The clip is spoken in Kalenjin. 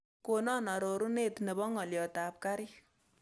Konon arorunet nebo ng'oliotab kariik